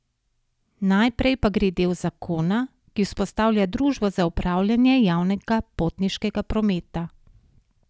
Naprej pa gre del zakona, ki vzpostavlja družbo za upravljanje javnega potniškega prometa.